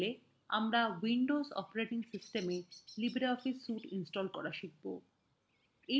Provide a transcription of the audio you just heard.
in tutorial আমরা windows operating সিস্টেমwe libreoffice suite install করা শিখব